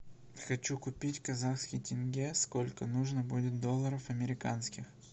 хочу купить казахский тенге сколько нужно будет долларов американских